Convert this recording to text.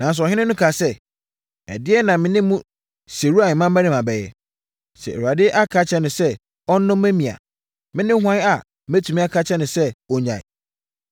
Nanso, ɔhene no kaa sɛ, “Ɛdeɛn na me ne mo Seruia mmammarima bɛyɛ? Sɛ Awurade aka akyerɛ no sɛ, ɔnnome me a, me ne hwan a mɛtumi aka akyerɛ no sɛ ɔnnyae?”